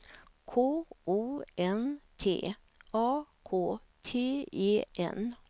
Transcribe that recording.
K O N T A K T E N